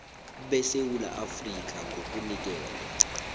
besewula afrika ngokunikelwa